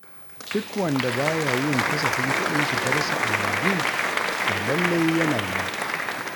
Duk wanda ba ya yin kasafin kuɗin shigarsa a yanzu, to lallai yana ruwa.